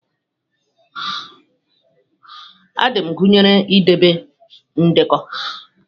Adminụ gụnyere idebe ndekọ.